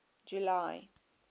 july